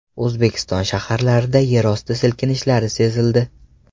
O‘zbekiston shaharlarida yerosti silkinishlari sezildi.